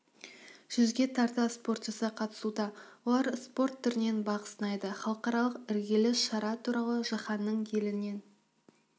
жүзге тарта спортшысы қатысуда олар спорт түрінен бақ сынайды халықаралық іргелі шара туралы жаһанның елінен